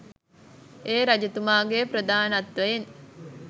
ඒ රජතුමාගේ ප්‍රදානත්වයෙන්.